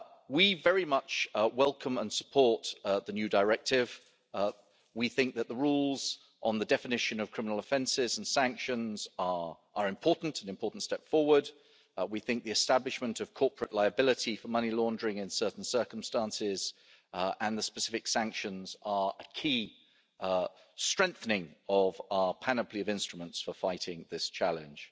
We very much welcome and support the new directive. We think that the rules on the definition of criminal offences and sanctions are an important step forward. We think the establishment of corporate liability for money laundering in certain circumstances and the specific sanctions are a key strengthening of our panoply of instruments for fighting this challenge.